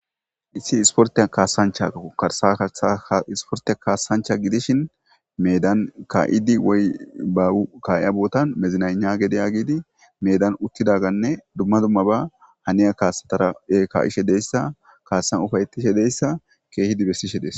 Issi ispporththiyan kaassanchcha karssa karssa isporththiya kaassanchcha gidishin meedan kaa7iiddi woy bawu kaa7iya boothan mezinagna gede yaagidi meedan uththidaagaanne duma dummaba haniya kaassathara kaa7ishe de7issa kaassan ufayththishe de7issa keehidi bessishe des.